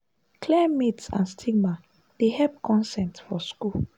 clear myth and stigma dey help consent for school.